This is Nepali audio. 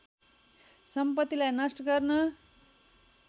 सम्पतिलाई नष्ट गर्न